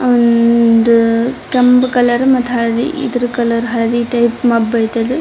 ಒಂದು ಕೆಂಪು ಕಲರ್ ಹಳದಿ ಇದ್ರ್ ಕಲರ್ ಹಳದಿ ಟೈಪ್ ಮಬ್ಬ ಆಯ್ತ್ ಅದು.